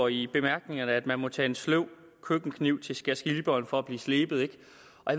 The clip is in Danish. i bemærkningerne at man må tage en sløv køkkenkniv til skærsliberen for at blive slebet jeg